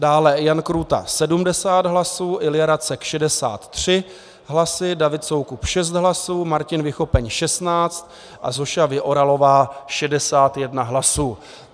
Dále Jan Krůta 70 hlasů, Ilja Racek 63 hlasy, David Soukup 6 hlasů, Martin Vychopeň 16 a Zoša Vyoralová 61 hlasů.